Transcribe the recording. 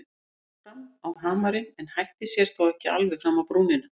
Hún gekk fram á hamarinn en hætti sér þó ekki alveg fram á brúnina.